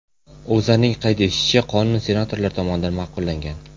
O‘zAning qayd etishicha, qonun senatorlar tomonidan ma’qullangan.